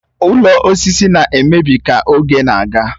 Ụlọ osisi na-emebi ka oge na-aga